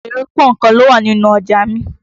Èrè pọ́nkan ló wà nínù ọjà mi.